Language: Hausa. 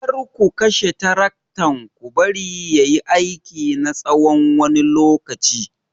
Kar ku kashe taraktan ku bari ya yi aiki na tsawon wani lokaci!